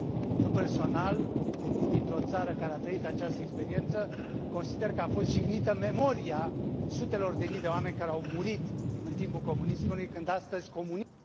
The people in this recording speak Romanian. Eu personal, venind dintr o țară care a trăit această experiență, consider că a fost jignită memoria sutelor de mii de oameni care au murit în timpul comunismului, când astăzi comunismul